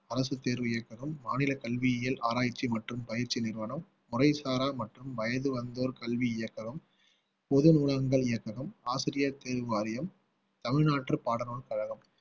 அரசுத் தேர்வு இயக்ககம் மாநில கல்வியியல் ஆராய்ச்சி மற்றும் பயிற்சி நிறுவனம் முறைசாரா மற்றும் வயது வந்தோர் கல்வி இயக்ககம் பொது நூலகங்கள் இயக்ககம் ஆசிரியர் தேர்வு வாரியம் தமிழ்நாட்டு பாடநூல் கழகம்